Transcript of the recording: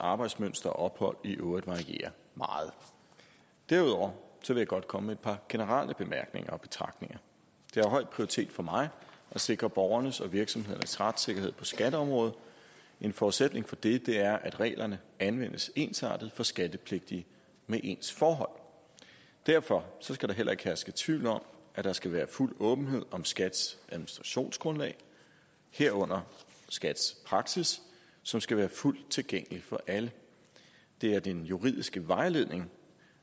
arbejdsmønster og ophold i øvrigt varierer meget derudover vil jeg godt komme med et par generelle bemærkninger og betragtninger det har høj prioritet for mig at sikre borgernes og virksomhedernes retssikkerhed på skatteområdet en forudsætning for det er at reglerne anvendes ensartet for skattepligtige med ens forhold derfor skal der heller ikke herske tvivl om at der skal være fuld åbenhed om skats administrationsgrundlag herunder skats praksis som skal være fuldt tilgængelig for alle det er den juridiske vejledning